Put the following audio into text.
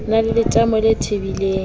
na le letamo le tebileng